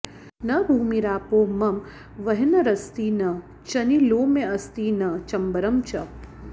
न भूमिरापो मम वह्निरस्ति न चनिलोमेऽस्ति न चम्बरं च